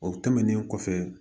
O tɛmɛnen kɔfɛ